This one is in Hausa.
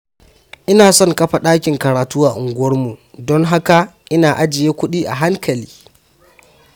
Ina son kafa ɗakin karatu a unguwarmu, don haka ina ajiye kuɗi a hankali.